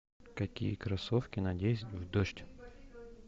какие кроссовки надеть в дождь